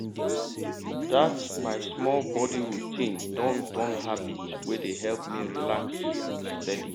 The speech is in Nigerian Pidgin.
that my small body routine don turn habit wey dey help me relax steady.